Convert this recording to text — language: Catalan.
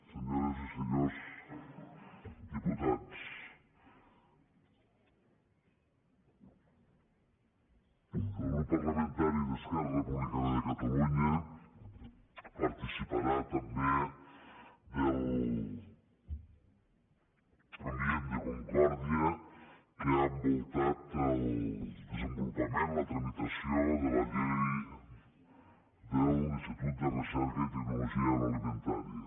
senyores i senyors diputats el grup parlamentari d’esquerra republicana de catalunya participarà també de l’ambient de concòrdia que ha envoltat el desenvolupament la tramitació de la llei de l’institut de recerca i tecnologia agroalimentàries